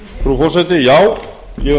frú forseti já ég